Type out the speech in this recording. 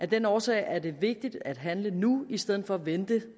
den årsag er det vigtigt at handle nu i stedet for at vente